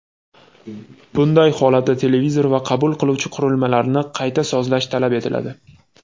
Bunday holatda televizor va qabul qiluvchi qurilmalarni qayta sozlash talab etiladi.